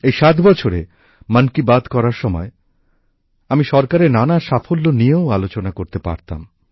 এই সাত বছরে মন কি বাত করার সময় আমি সরকারের নানা সাফল্য নিয়েও আলোচনা করতে পারতাম